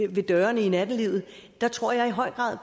ved dørene i nattelivet tror jeg i høj grad